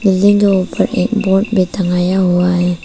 ये दो पर एक बोर्ड पे टंगाया हुआ है।